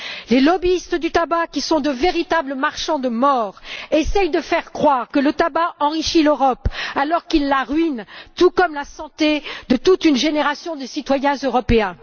Les lobbyistes du tabac, qui sont de véritables marchands de mort, essayent de faire croire que le tabac enrichit l'Europe, alors qu'il la ruine, tout comme la santé de toute une génération de citoyens européens.